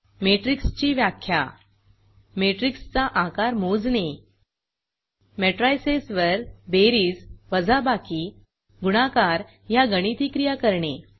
मॅट्रिक्सची व्याख्या मॅट्रिक्सचा आकार मोजणे मॅट्रायसेसवर बेरीज वजाबाकी गुणाकार ह्या गणिती क्रिया करणे